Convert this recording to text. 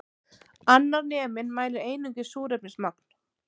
Annar neminn mælir einungis súrefnismagn